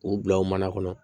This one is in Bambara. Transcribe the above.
K'u bila u mana kɔnɔ